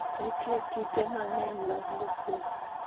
Nitie kite mang'eny mag lupus